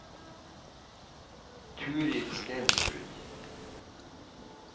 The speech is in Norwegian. Turid Stensrud